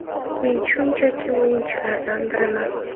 Men shunchaki o‘yinchilardan biriman.